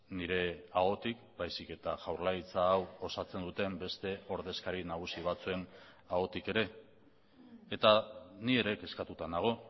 nire ahotik baizik eta jaurlaritza hau osatzen duten beste ordezkari nagusi batzuen ahotik ere eta ni ere kezkatuta nago